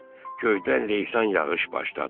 Göydən leysan yağış başladı.